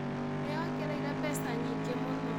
Nĩ ongereire mbeca nyingĩ mũno